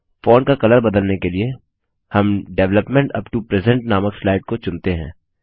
font का colour बदलने के लिए हम डेवलपमेंट यूपी टो प्रेजेंट नामक स्लाइड को चुनते हैं